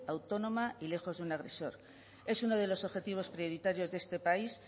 autónoma y lejos de un agresor es uno de los objetivos prioritarios de este país